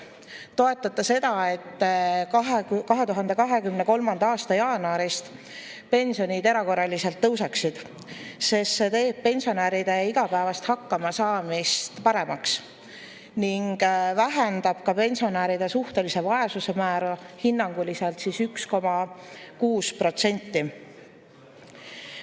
Toetate seda, et 2023. aasta jaanuarist pensionid erakorraliselt tõuseksid, sest see teeb pensionäride igapäevast hakkamasaamist paremaks ning vähendab ka pensionäride suhtelise vaesuse määra hinnanguliselt 1,6%.